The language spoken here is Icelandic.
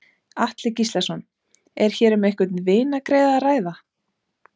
Atli Gíslason: Er hér um einhvern vinargreiða að ræða?